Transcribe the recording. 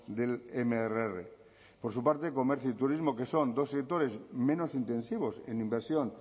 del mrr por su parte comercio y turismo que son dos sectores menos intensivos en inversión